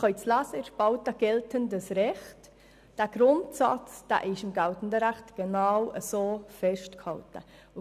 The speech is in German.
Sie können in der Spalte «Geltendes Recht» lesen, dass dieser Grundsatz genauso im geltenden Recht festgehalten ist.